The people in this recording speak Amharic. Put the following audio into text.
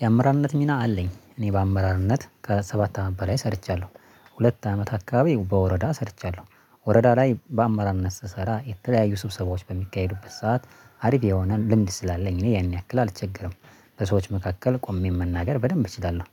የአመራርነት ሚና አለኝ እኔ በአመራርነት ከሰባት አመት በላይ ሰርቻለሁ። ሁለት አመት አካባቢ በወረዳ ሰርቻለሁ ወረዳ ላይ በአመራርነት ስሰራ የተለያዩ ስብሰባዎች በሚካሄዱበት ሰዓት አሪፍ የሆነ ልምድ ስላለኝ እኔ ያኔ ያክል አልቸገርም በሰዎች መካከል ቆሜ መናገር በደንብ እችላለው።